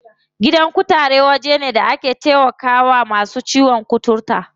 Gidan kutare waje ne da ake taimakawa masu ciwon kuturta.